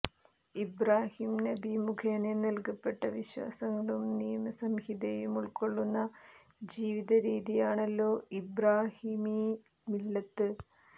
ഇബ്റാഹീം നബി മുഖേന നല്കപ്പെട്ട വിശ്വാസങ്ങളും നിയമസംഹിതയുമുള്ക്കൊള്ളുന്ന ജീവിതരീതിയാണല്ലോ ഇബ്റാഹീമീ മില്ലത്ത്